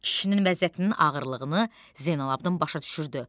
Kişinin vəziyyətinin ağırlığını Zeynalabdın başa düşürdü.